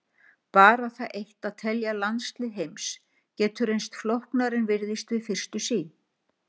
Bara það eitt að telja landslið heims getur reynst flóknara en virðist við fyrstu sýn.